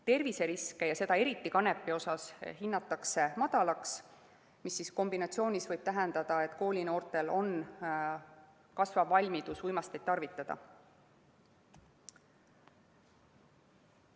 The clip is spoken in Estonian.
Terviseriske, eriti kanepi puhul, hinnatakse madalaks, mis kombinatsioonis võib tähendada, et koolinoortel on kasvav valmidus uimasteid tarvitada.